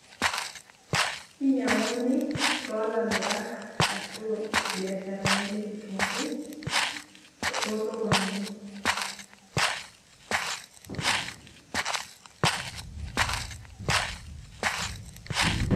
kinyiang'uni toolamirak ashu, ilbiasharani le kitunkuu too sokonini